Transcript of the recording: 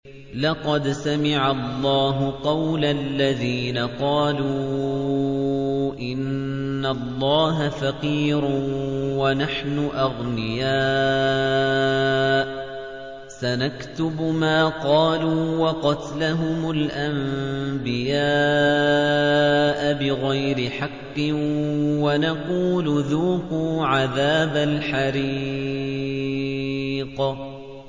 لَّقَدْ سَمِعَ اللَّهُ قَوْلَ الَّذِينَ قَالُوا إِنَّ اللَّهَ فَقِيرٌ وَنَحْنُ أَغْنِيَاءُ ۘ سَنَكْتُبُ مَا قَالُوا وَقَتْلَهُمُ الْأَنبِيَاءَ بِغَيْرِ حَقٍّ وَنَقُولُ ذُوقُوا عَذَابَ الْحَرِيقِ